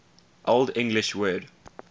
old english word